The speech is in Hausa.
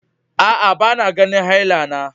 Aa, ba na ganin haila na.